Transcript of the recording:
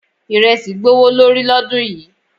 Iresi gbówó lórí lọ́dún yìí.